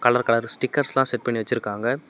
Colour colour stickers எல்லா set பண்ணி வச்சிருக்காங்க.